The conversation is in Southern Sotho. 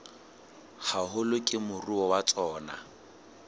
haholo ke moruo wa tsona